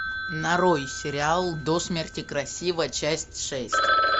нарой сериал до смерти красива часть шесть